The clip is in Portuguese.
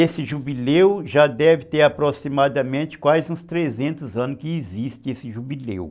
Esse jubileu já deve ter aproximadamente quase uns trezentos anos que existe esse jubileu.